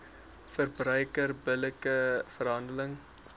verbruiker billike verhandeling